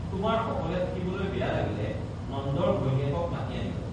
তোমাৰ অকলে থাকিবলৈ বেয়া লাগিলে নন্দৰ ঘৈণীয়েকক মাতি আনিবা